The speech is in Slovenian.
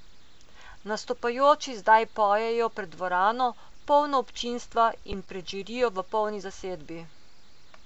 Nastopajoči zdaj pojejo pred dvorano, polno občinstva, in pred žirijo v polni zasedbi.